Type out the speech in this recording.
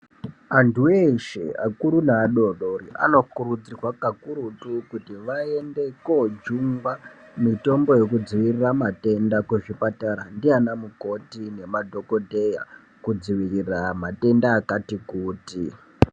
Antu eshe, akuru naadodori anokurudzirwa kakurutu kuti vaende kojungwa mitombo yekudziirira matenda ndiana mukoti nemadhogodheya, kudziirira matenda akatikuti.